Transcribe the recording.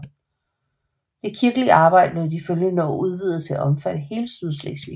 Det kirkelige arbejde blev i de følgende år udvidet til at omfatte hele Sydslesvig